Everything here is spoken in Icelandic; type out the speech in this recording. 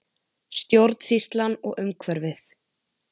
Stjórnsýslan og umhverfið